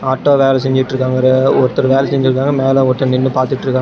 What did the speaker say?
Auto வேல செஞ்சுட்ருக்காங்க ஒருத்தர் வேலை செஞ்சுட்டு இருக்காங்க மேல ஒருத்தர் நின்னு பாத்துட்ருக்காங்க.